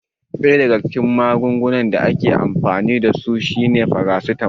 Ɗaya daga cikin magungunan da aka fi amfani dasu shine farasitamol